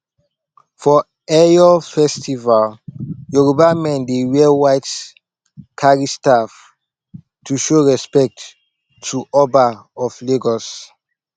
for eyo festival yoruba men dey wear white carry staff to show respect to oba of lagos